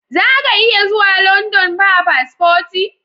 Zaka iya zuwa London ba paspoti?